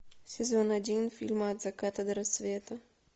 сезон один фильма от заката до рассвета